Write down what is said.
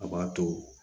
A b'a to